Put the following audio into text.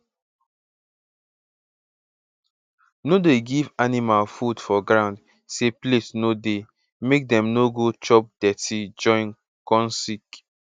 no dey give animal food for ground say plate no dey make dem no go chop dirty join come sick